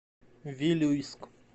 вилюйск